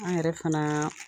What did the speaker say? An yɛrɛ fana